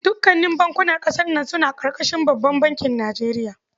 Dukanin bankunan ƙasar nan suna ƙarƙashin babban bankin Nijeriya.